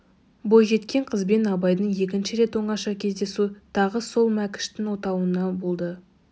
бойжеткен қызбен абайдың екінші рет оңаша кездесу тағы сол мәкіштің отауында болды